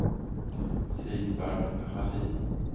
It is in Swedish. Sigvard Hallin